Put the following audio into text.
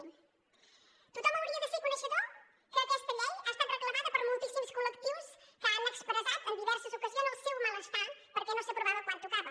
tothom hauria de ser coneixedor que aquesta llei ha estat reclamada per moltíssims col·lectius que han expressat en diverses ocasions el seu malestar perquè no s’aprovava quan tocava